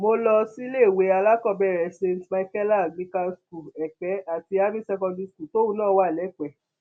mo lọ síléèwé alákọọbẹrẹ saint micheala anglican school èpè àti army secondary school tóun náà wà lẹpẹ